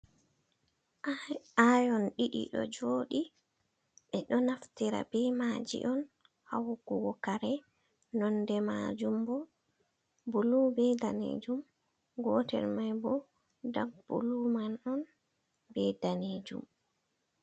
Ayon ɗiɗi ɗo joɗi. Ɓeɗo naftira be maaji on haa wuggugo kare nonde majum bo bulu be danejum. Gotel mai bo dak bulu man on be danejum.